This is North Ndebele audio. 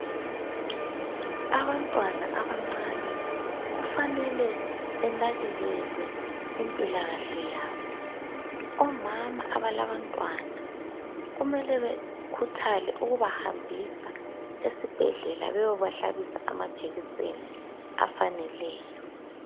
Abantwana abancani kufanele benakekelwe impilakahle yabo. Omama abalabantwana kumele bekhuthale ukubahambisa esibhedlela beyobahlabisa amajekiseni afaneleyo.